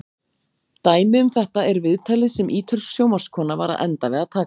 Dæmi um þetta er viðtalið sem ítölsk sjónvarpskona var að enda við að taka.